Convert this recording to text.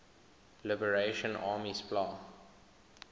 liberation army spla